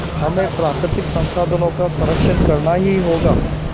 हमें प्राकृतिक संसाधनों का संरक्षण करना ही होगा